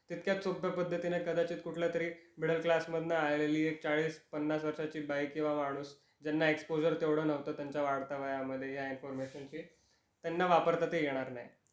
तिथक्याच सोप्प्या पद्धतीने कदाचित कुठला तरी मीडल क्लास मधन आलेली एक चाळीस पन्नास वर्षाची बाई किंवा माणूस ज्यांना एक्सपोजर तेवढ नव्हत त्यांच्या वाढत्या वयामध्ये या इन्फॉरमेशन ची, त्यांना वापरता ते येणार नाही.